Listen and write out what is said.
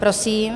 Prosím.